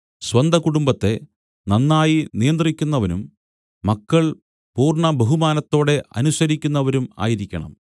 സ്വന്തകുടുംബത്തെ നന്നായി നിയന്ത്രിക്കുന്നവനും മക്കൾ പൂർണ്ണബഹുമാനത്തോടെ അനുസരിക്കുന്നവരും ആയിരിക്കണം